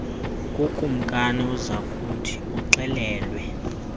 kukumkani uzakuthi uxelelwe